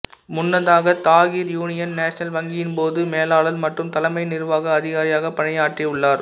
முன்னதாக Tahir union national வங்கியின் பொது மேலாளர் மற்றும் தலைமை நிர்வாக அதிகாரியாக பணியாற்றியுள்ளர்